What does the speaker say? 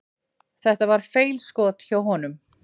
Þetta var feilskot hjá honum.